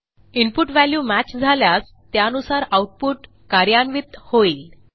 input value match झाल्यास त्यानुसार output कार्यान्वित होईल